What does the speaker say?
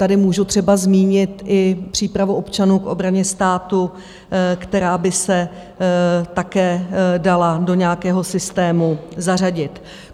Tady můžu třeba zmínit i přípravu občanů k obraně státu, která by se také dala do nějakého systému zařadit.